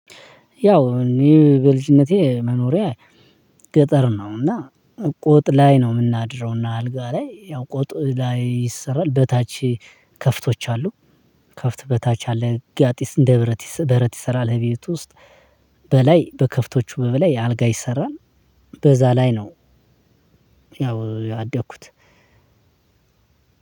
ያው እኔ በልጅነቴ መኖሪያ ገጠር ነው። እና ቆጥ ላይ ነው የምናድረውና አልጋ ላይ ያው ቆጥ ላይ ይሰራል በታች ከፍቶች አሉ። ከፍት በታች አለ ጋጢስ እንደ በረት በረት ይሰራል። እቤት ውስጥ በላይ በከፍቶቹ በበላይ አልጋ ይሰራል። በዛ ላይ ነው። ያው ያደኩት